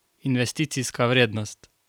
Investicijska vrednost?